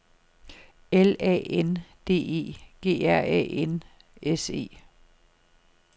L A N D E G R Æ N S E